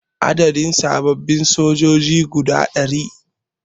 A ɗebi sababbin sojoji guda ɗari